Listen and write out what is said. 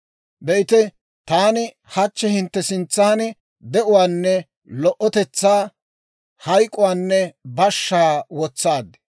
«Be'ite, taani hachchi hintte sintsan de'uwaanne lo"otetsaa, hayk'uwaanne bashshaa wotsaad.